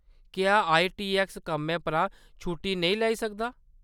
क्या I T X कम्मै परा छुट्टी नेईं लेई सकदा ?